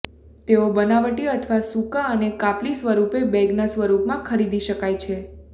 તેઓ બનાવટી અથવા સૂકા અને કાપલી સ્વરૂપે બેગના સ્વરૂપમાં ખરીદી શકાય છે